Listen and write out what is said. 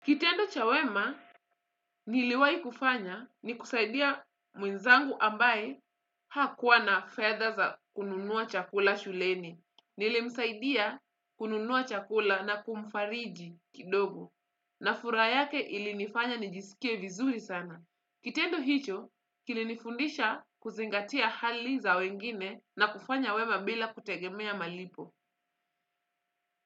Kitendo cha wema, niliwahi kufanya ni kusaidia mwenzangu ambaye hakuwa na fedha za kununua chakula shuleni. Nilimsaidia kununua chakula na kumfariji kidogo. Na furaha yake ilinifanya nijisikie vizuri sana. Kitendo hicho, kilinifundisha kuzingatia hali za wengine na kufanya wema bila kutegemea malipo.